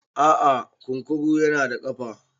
a'a kunkuru yana da kafa